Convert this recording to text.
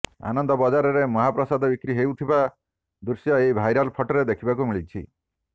ଆନନ୍ଦ ବଜାରରେ ମହାପ୍ରସାଦ ବିକ୍ରି ହେଉଥିବା ଦୃଶ୍ୟ ଏହି ଭାଇରାଲ ଫଟୋରେ ଦେଖିବାକୁ ମିଳିଛି